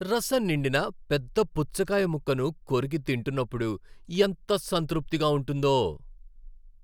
రసం నిండిన పెద్ద పుచ్చకాయ ముక్కను కొరికి తింటున్నపుడు ఎంత సంతృప్తిగా ఉంటుందో.